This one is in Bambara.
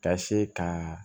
Ka se ka